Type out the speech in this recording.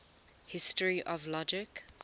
history of logic